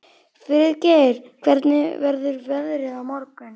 Friðgeir, hvernig verður veðrið á morgun?